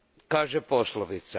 kaže poslovica.